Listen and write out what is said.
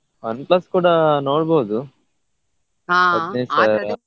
OnePlus ಕೂಡಾ ನೋಡ್ಬಹುದು ಸಾವಿರ.